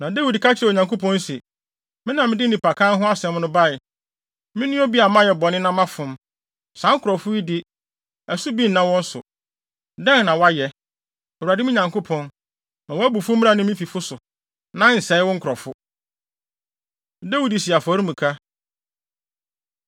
Na Dawid ka kyerɛɛ Onyankopɔn se, “Me na mede nnipakan no ho asɛm bae! Me ne obi a mayɛ bɔne na mafom. Saa nkurɔfo yi de, ɛso bi nna wɔn so. Dɛn na wɔayɛ? Awurade me Nyankopɔn, ma wʼabufuw mmra me ne me fifo so, na nsɛe wo nkurɔfo.” Dawid Si Afɔremuka